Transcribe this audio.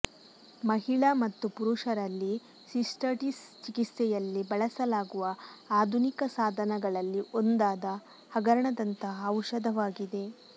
ಮಹಿಳಾ ಮತ್ತು ಪುರುಷರಲ್ಲಿ ಸಿಸ್ಟಟಿಸ್ ಚಿಕಿತ್ಸೆಯಲ್ಲಿ ಬಳಸಲಾಗುವ ಆಧುನಿಕ ಸಾಧನಗಳಲ್ಲಿ ಒಂದಾದ ಹಗರಣದಂತಹ ಔಷಧವಾಗಿದೆ